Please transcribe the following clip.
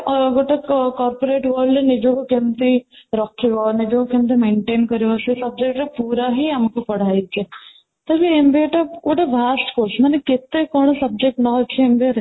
ଆଉ ଗୋଟେ corporate rule ରେ ନିଜକୁ କେମିତି ରଖିବ ନିଜକୁ କେମିତି maintain କରିବ ସେ subject ରେ ପୁରା ହିଁ ଆମକୁ ପଢା ହେଇଛି, ତ ଯୋଉ MBA ଟା ଗୋଟେ ଅଛି ମାନେ କେତେ କ'ଣ subject ନା ଅଛି MBA ରେ